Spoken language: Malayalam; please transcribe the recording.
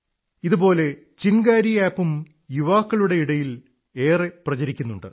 ഇതുപോലെ ചിൻഗാരി ആപ് ഉം യുവാക്കളുടെ ഇടയിൽ വളരെ പ്രചരിക്കുന്നുണ്ട്